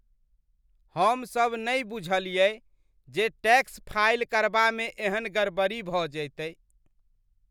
हमसभ नहि बुझलियै जे टैक्स फाइल करबामे एहन गड़बड़ी भऽ जयतै।